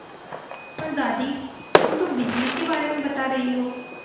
पर दादी तुम तो बिजली के बारे में बता रही हो